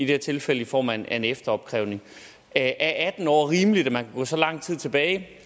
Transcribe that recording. her tilfælde i form af en efteropkrævning er atten år rimeligt at man gå så lang tid tilbage det